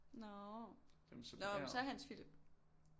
Nå nå men så Hans Philip